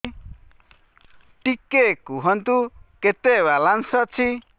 ଟିକେ କୁହନ୍ତୁ କେତେ ବାଲାନ୍ସ ଅଛି